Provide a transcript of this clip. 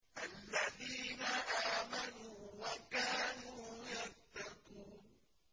الَّذِينَ آمَنُوا وَكَانُوا يَتَّقُونَ